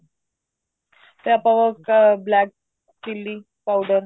ਤੇ ਆਪਾਂ ਉਹ black chili powder